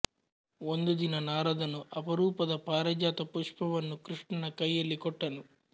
ಒಂದು ದಿನ ನಾರದನು ಅಪರೂಪದ ಪಾರಿಜಾತ ಪುಷ್ಪವನ್ನು ಕೃಷ್ಣನ ಕೈಯಲ್ಲಿ ಕೊಟ್ಟನು